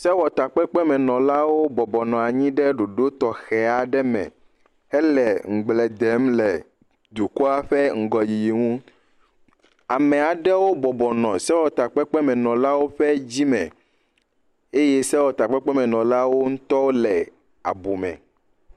Sewɔtakpekpemenɔlawo bɔbɔ nɔ anyi ɖe ɖoɖo tɔxe aɖe me hele ŋgble dem le dukɔa ƒe ŋgɔyiyi ŋu. Ame aɖewo bɔbɔ nɔ sewɔtakpekpemenɔlawo ƒe dzime eye sewɔtakpekpemenɔlawo ŋutɔ nɔ abume.